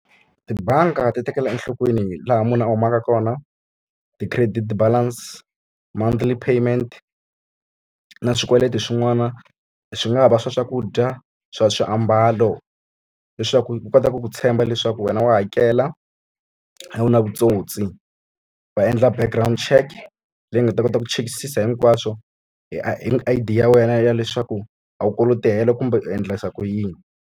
Tibangi ti tekela enhlokweni laha munhu a humaka kona, ti-credit balance, monthly payment na swikweleti swin'wana, swi nga ha va swa swakudya, swa swiambalo. Leswaku yi kota ku ku tshemba leswaku wena wa hakela a wu na vutsotsi. Va endla background check leyi nga ta kota ku chekisisa hinkwaswo hi hi I_D ya wena ya leswaku a wu koloti kahelo kumbe u endlisa ku yini.